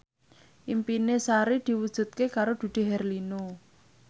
impine Sari diwujudke karo Dude Herlino